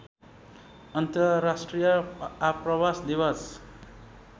अन्तर्राष्ट्रिय आप्रवास दिवस